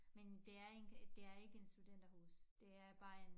Men det er ikke det er ikke en studenterhus det er bare en